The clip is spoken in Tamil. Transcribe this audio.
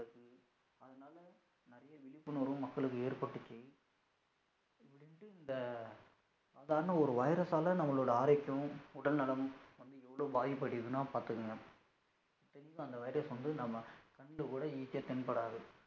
விழிபுணர்வு மக்களுக்கு ஏற்பட்டுச்சி, இப்படின்டு இந்த சாதாரண ஒரு virus யால நம்மளோட ஆரோக்கியமும் உடல் நலமும் வந்து எவளோ பாதிப்புயடைதுனா பாத்துக்கோங்க, இத்தனைக்கும் அந்த virus வந்து நம்ம கண்ணுல கூட easy ஆ தென்படாது.